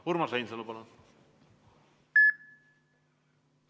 Urmas Reinsalu, palun!